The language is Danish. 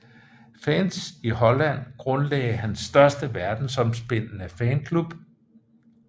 Fans i Holland grundlagde hans største verdensomspændende fanklub